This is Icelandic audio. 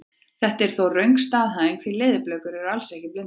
Þetta er þó röng staðhæfing því leðurblökur eru alls ekki blindar!